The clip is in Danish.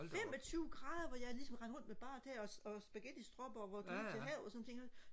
femogtyve grader hvor ligesom rendte rundt med bare tæer og og spagettistropper og ture til havet og sådan nogle ting